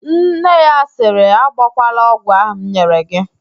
Nne ya sịrị, agbọkwala ogwụ ahụ m nyere g!